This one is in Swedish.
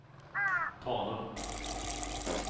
Tanum